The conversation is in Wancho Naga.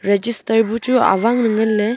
register bu chu awang ley nganley .